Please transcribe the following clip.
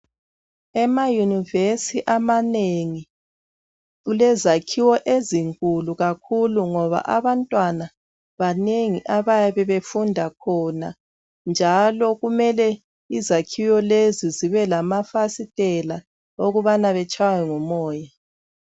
Ema yunivesi amanengi kulezakhiwo ezinkulu kakhulu ngoba abantwaba banengi abayabe befunda khona njalo kumele izakhiwo lezi zibe lamafasiteli okubana batshaywe ngumoya.